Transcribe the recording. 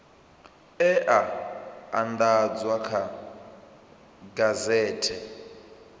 e a andadzwa kha gazethe